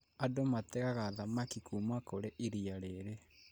Andũ mategaga thamaki kuma kũri iria rĩrĩ